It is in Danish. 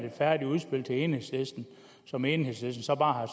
et færdigt udspil til enhedslisten som enhedslisten så bare